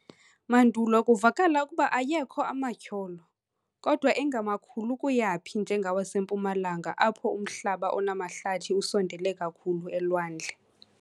Mandulo kuvakala ukuba ayekho amatyholo, kodwa engemakhulu kuyaphi njengawasempuma-langa, apho umhlaba onamahlathi usondele kakhulu elwandle.